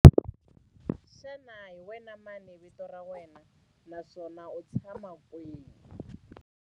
Xana hi wena mani vito ra wena naswona u tshama kwihi?